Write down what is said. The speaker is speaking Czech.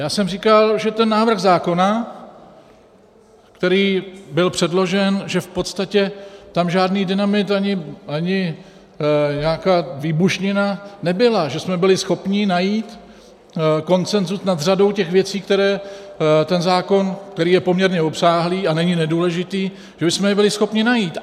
Já jsem říkal, že ten návrh zákona, který byl předložen, že v podstatě tam žádný dynamit ani nějaká výbušnina nebyla, že jsme byli schopni najít konsenzus nad řadou těch věcí, které ten zákon, který je poměrně obsáhlý a není nedůležitý, že bychom je byli schopni najít.